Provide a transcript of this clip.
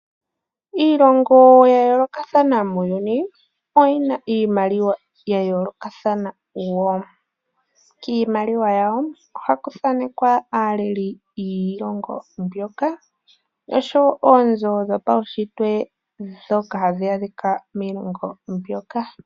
Iilongo ya yoolokathana muuyuni oyina iimaliwa ya yoolokathana woo . Kiimaliwa yawo ohaku thanekwa aaaleli yiilongo mbyoka oshowo oonzo dhopaushitwe ndhoka hadhi adhika miilongo moka.